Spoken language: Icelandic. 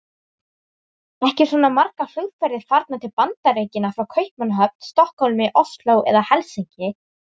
Ekki eru svona margar flugferðir farnar til Bandaríkjanna frá Kaupmannahöfn, Stokkhólmi, Osló eða Helsinki.